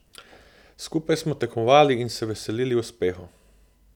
Skupaj smo tekmovali in se veselili uspehov.